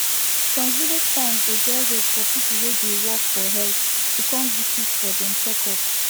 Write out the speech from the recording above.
some village towns dey get hope for people wey dey work for health to come visit for dem checkup